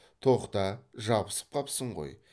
тоқта жабысып қапсың ғой